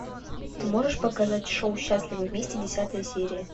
ты можешь показать шоу счастливы вместе десятая серия